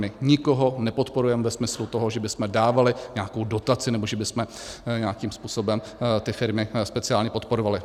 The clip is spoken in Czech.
My nikoho nepodporujeme ve smyslu toho, že bychom dávali nějakou dotaci nebo že bychom nějakým způsobem ty firmy speciálně podporovali.